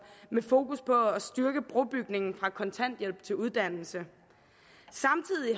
med fokus på at styrke brobygningen fra kontanthjælp til uddannelse samtidig